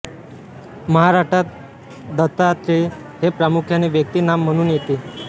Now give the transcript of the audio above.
महाराष्ट्रात दत्तात्रेय हे प्रामुख्याने व्यक्ती नाम म्हणून येते